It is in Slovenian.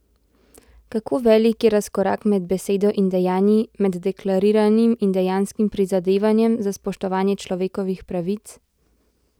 Kako velik je razkorak med besedo in dejanji, med deklariranim in dejanskim prizadevanjem za spoštovanje človekovih pravic?